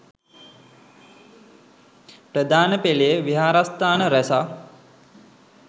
ප්‍රධාන පෙළේ විහාරස්ථාන රැසක්